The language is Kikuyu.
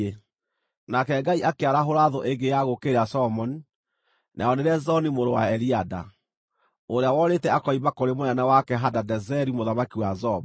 Nake Ngai akĩarahũra thũ ĩngĩ ya gũũkĩrĩra Solomoni, nayo nĩ Rezoni mũrũ wa Eliada, ũrĩa worĩte akoima kũrĩ mũnene wake, Hadadezeri mũthamaki wa Zoba.